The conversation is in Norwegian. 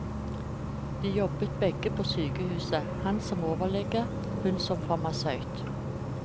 De jobbet begge på sykehuset, han som overlege, hun som farmasøyt.